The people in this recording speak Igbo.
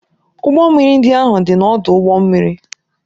Ụgbọ mmiri ndị ahụ dị n'ọdụ ụgbọ mmiri.